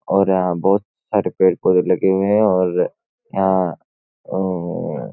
और यां बोहोत लगे हुए हैं और यहाँ उम्म्म --